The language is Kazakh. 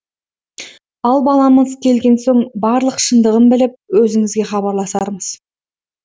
ал баламыз келген соң барлық шындығын біліп өзіңізге хабарласармыз